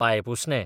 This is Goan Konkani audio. पांयपुसणें